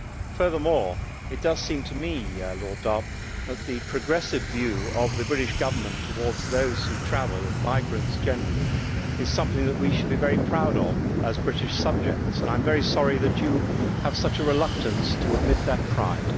Furthermore, it does seem to me, Lord Dartmouth, that the progressive view of the British government to those who travel and migrants generally is something that we should be very proud of as British subjects, and I am very sorry that you have such a reluctance to admit that pride.